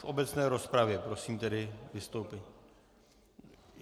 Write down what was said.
V obecné rozpravě, prosím tedy vystoupit.